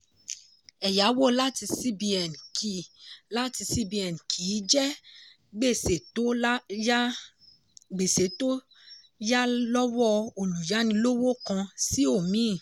ẹ̀yàwó lati cbn kì lati cbn kì í jẹ́ gbèsè tó yà lọ́wọ́ olùyànilọ́wọ́ kan sí omíì.